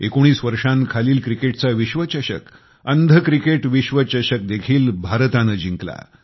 19 वर्षांखालील क्रिकेटचा विश्वचषक अंध क्रिकेट विश्वचषक देखील भारताने जिंकला